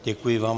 Děkuji vám.